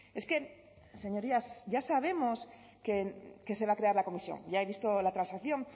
es que señorías ya sabemos que se va a crear la comisión ya he visto la transacción